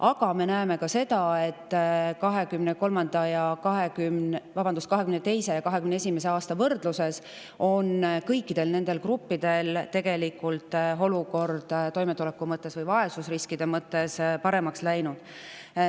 Aga me näeme ka seda, et 2022. ja 2021. aasta võrdluses on kõikidel nendel gruppidel läinud olukord toimetuleku või vaesusriskide mõttes tegelikult paremaks.